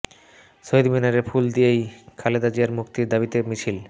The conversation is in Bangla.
শহীদ মিনারে ফুল দিয়েই খালেদা জিয়ার মুক্তির দাবিতে মিছিল